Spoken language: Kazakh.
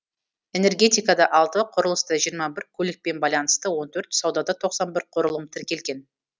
энергетикада алты құрылыста жиырма бір көлікпен байланысты он төрт саудада тоқсан бір құрылым тіркелген